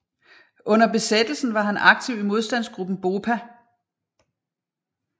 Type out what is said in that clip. Under besættelsen var han aktiv i modstandsgruppen BOPA